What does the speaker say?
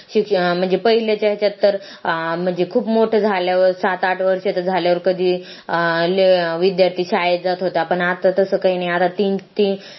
म्हणजे पाहिलंच्या तर म्हणजे खूप मोठं झल्यावर सात आठ वर्षाचं झल्यावर कधी अं विद्यार्थी शाळेत जात होता पण आता तर